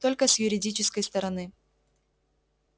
только с юридической стороны